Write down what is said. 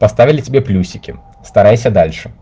поставили тебе плюсики старайся дальше